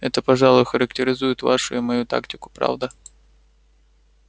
это пожалуй характеризует вашу и мою тактику правда